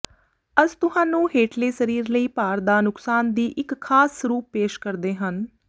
ਅਸ ਤੁਹਾਨੂੰ ਹੇਠਲੇ ਸਰੀਰ ਲਈ ਭਾਰ ਦਾ ਨੁਕਸਾਨ ਦੀ ਇੱਕ ਖਾਸ ਸਰੂਪ ਪੇਸ਼ ਕਰਦੇ ਹਨ